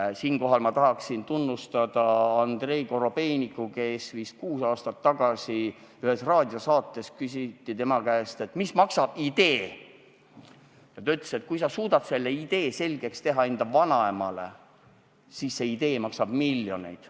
Tahan siinkohal tunnustada Andrei Korobeinikut, kes vist kuus aastat tagasi ütles ühes raadiosaates, kui tema käest küsiti, mis maksab idee, et kui sa suudad selle idee selgeks teha enda vanaemale, siis see idee maksab miljoneid.